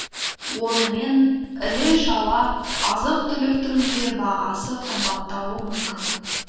онымен іле шала азық түліктің де бағасы қымбаттауы мүмкін